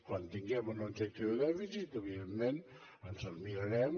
quan tinguem un objectiu de dèficit evidentment ens el mirarem